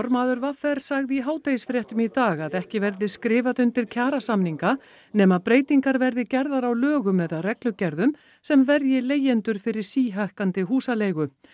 formaður v r sagði í hádegisfréttum í dag að ekki verði skrifað undir kjarasamninga nema breytingar verði gerðar á lögum eða reglugerðum sem verji leigendur fyrir síhækkandi húsaleigu